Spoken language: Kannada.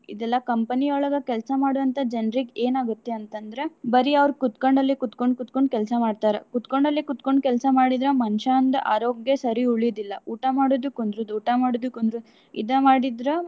ಇದೆಲ್ಲಾ company ಯೊಳಗ ಕೆಲ್ಸಾ ಮಾಡುವಂತ ಜನ್ರಿಗೆ ಏನ್ ಆಗುತ್ತೆ ಅಂತ ಅಂದ್ರೆ. ಬರಿ ಅವ್ರ ಕುತ್ಕೊಂಡಲ್ಲೆ ಕೂತಕೊಂಡ್, ಕೂತಕೊಂಡ್ ಕೆಲ್ಸಾ ಮಾಡ್ತಾರ. ಕುತ್ಕೊಂಡಲ್ಲೆ ಕೂತಕೊಂಡ್ ಕೆಲ್ಸಾ ಮಾಡಿದ್ರ ಮನಷ್ಯಾಂದ್ ಆರೋಗ್ಯ ಸರಿ ಉಳಿಯ್ಯುದಿಲ್ಲ. ಊಟಾ ಮಾಡೋದು ಕುಂದ್ರುದು, ಊಟಾ ಮಾಡುದು ಕುಂದ್ರುದು ಇದ ಮಾಡಿದ್ರ.